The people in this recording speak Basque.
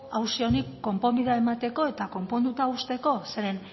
auzi honi konponbidea emateko eta konponduta uzteko zeren